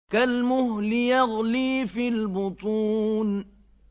كَالْمُهْلِ يَغْلِي فِي الْبُطُونِ